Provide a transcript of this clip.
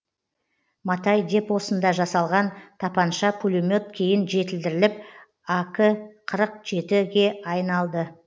матай депосында жасалған тапанша пулемет кейін жетілдіріліп ак қырық жеті ге айналды